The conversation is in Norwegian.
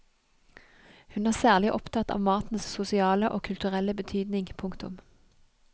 Hun er særlig opptatt av matens sosiale og kulturelle betydning. punktum